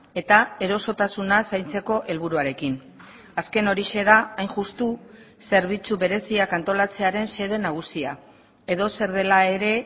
eta erosotasuna zaintzeko helburuarekin azken horixe da hain justu zerbitzu bereziak antolatzearen xede nagusia edozer dela ere